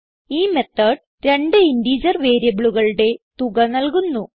ഈ മെത്തോട് രണ്ട് ഇന്റിജർ വേരിയബിളുകളുടെ തുക നൽകുന്നു